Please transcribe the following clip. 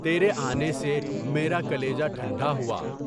تیرے آنے سے میرا کلیجہ ٹھنڈا ہوا۔